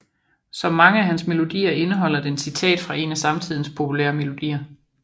Som mange af hans melodier indeholder den citat fra en af samtidens populære melodier